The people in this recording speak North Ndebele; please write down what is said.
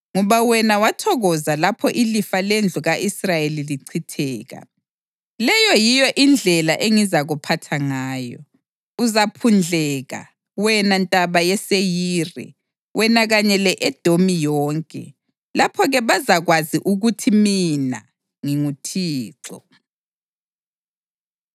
Ngoba wena wathokoza lapho ilifa lendlu ka-Israyeli lichitheka, leyo yiyo indlela engizakuphatha ngayo. Uzaphundleka, wena Ntaba yeSeyiri, wena kanye le-Edomi yonke. Lapho-ke bazakwazi ukuthi mina nginguThixo.’ ”